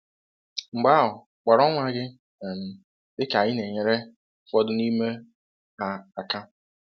Mgbe ahụ kpọọrọ nwa gị um dịka ị na-enyere um ụfọdụ n'ime um ha aka.